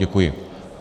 Děkuji.